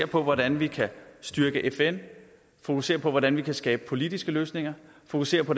på hvordan vi kan styrke fn fokusere på hvordan vi kan skabe politiske løsninger fokusere på